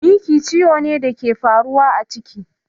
Miki ciwo ne da ke faruwa a ciki